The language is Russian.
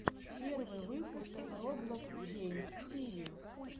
первый выпуск роблокс геймс тиви